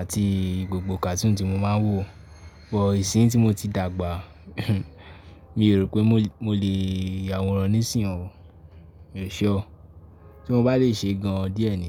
àti gbogbo cartoon tí mo máa ń wò. Isin yii ti mo ti dagba, mi o rope mo le ya awooran ni isin yi o Èṣe o, tí mo bá lè ṣe gan díẹ̀ ni.